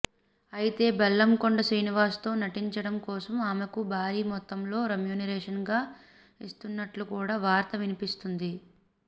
అయితే బెల్లంకొండ శ్రీనివాస్ తో నటించడం కోసం ఆమెకు భారీ మొత్తంలో రెమ్యునరేషన్ గా ఇస్తున్నట్లు కూడా వార్త వినిపిస్తుంది